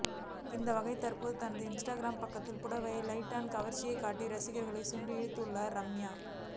அந்தவகையில் தற்போது தனது இன்ஸ்டாகிராம் பக்கத்தில் புடவையில் லைட்டா கவர்ச்சி காட்டி ரசிகர்களை சுண்டி இழுத்துள்ளார் ரம்யா